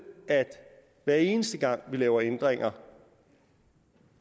at hver eneste gang vi laver ændringer